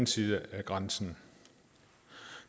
side af grænsen